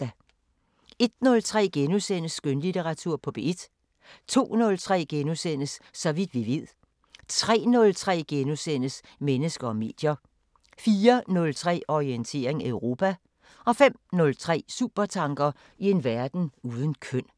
01:03: Skønlitteratur på P1 * 02:03: Så vidt vi ved * 03:03: Mennesker og medier * 04:03: Orientering Europa 05:03: Supertanker: I en verden uden køn